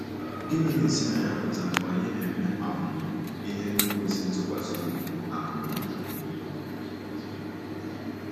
Gịnị na-esi na ya apụta mgbe anyị ‘ na-eme um ihe n’ikwesị ntụkwasị obi ’ um?